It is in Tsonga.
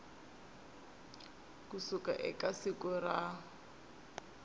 ku suka eka siku ra